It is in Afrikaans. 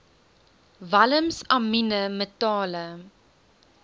walms amiene metale